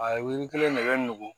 A ye wili kelen de bɛ nugu